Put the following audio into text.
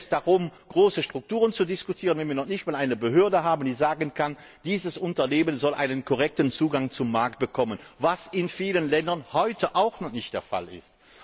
Warum sollen wir über große Strukturen diskutieren, wenn wir noch nicht mal eine Behörde haben, die sagen kann Dieses Unternehmen soll einen korrekten Zugang zum Markt bekommen was in vielen Ländern heute noch nicht der Fall ist.